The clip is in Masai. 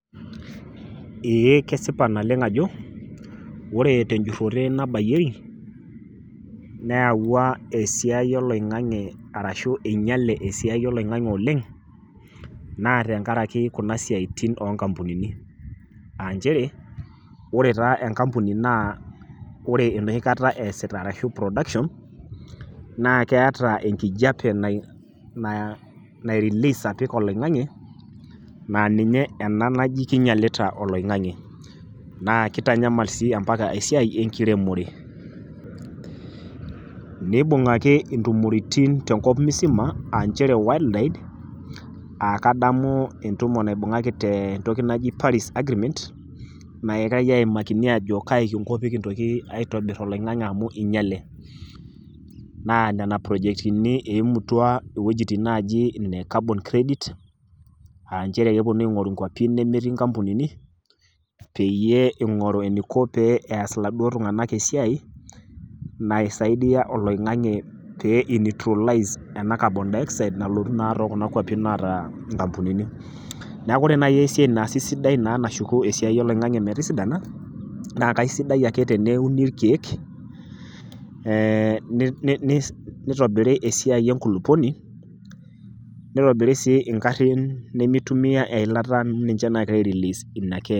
Ee kesipa naleng' ajo ore tenjurore nabayieki, neyawua esiai oloing'ang'e arashu einyiale esiai oloing'ang'e oleng' naa tenkaraki kuna siatin onkampunini aanchere ore taa enkampuni naa ore enohikata esita arashu production naa keeta enkijape na nairelease apik oloingange naa ninye ena naji kinyialita oloingange naa kitanyamal sii ampaka esiai enkiremore. Nibungaki ntumoritin tenkop musima aachere worl wide akadamu entumoki naibungaki tentoki naji paris agreement naikae aimaki ajo kai kinko pee kintoki aitobir oloingange amu inyiale, naa nena projectini eimutua iwuejitin naji ine carbon credit aanchere keponu aingoru nkwapi nemetii nkampunini peyie ingoru eniko pee eas iladuo tunganak esiai naisaidia oloingange pee inutrilize ena carbon dioxide nalotu naa too kuna kwapi naata nkampunini. Niaku ore nai esiai naasi sidai naa nashuku esiai oloingange metisidana naa kaisidai ake teneuni irkiek ee ni nit nitobiri esiai enkulupuoni, nitobiri sii ingarin nimitumia eilata amu ninche nagira airelease ina ke.